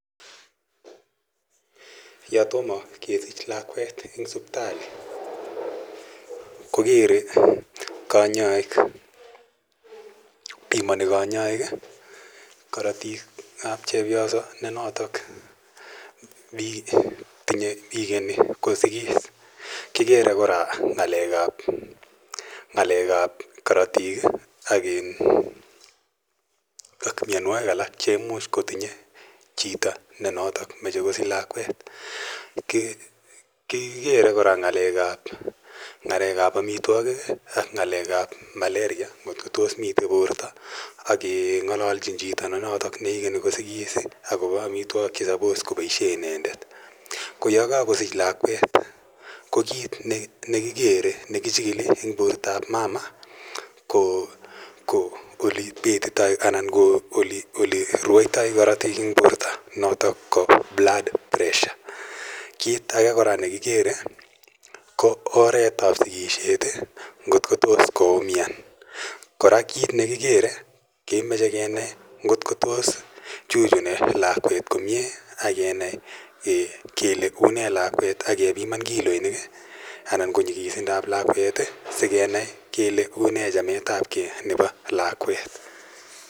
Yotomo kesich lakwet en siptali kopimoni konyoik korotik ab chepyoso nekikeni kosikis kikere ng'alek ab korotik ak myonwogik alak cheimuch kotinye chi nemoche kosikis kikere kora ng'alek ab amitwogik ak ng'alek ab Malaria kotos mi borto akeng'ololchi chito notok ikeni kosikis akobo amitwogik chenyolu koboisien inendet ako yekokosich lakwet ko kiit nekichikili en bortab mama ko ole rwoito korotik en borto notok ko Blood Pressure ,kiit ake kora nekikere ko oret ab sikisiet kotko tos koumian kora kemoche kenai kotkochuchuni lakwet komie akenai kole une lakwet akepiman kiloisiek sikenai kole une chametabgei nebo lakwet.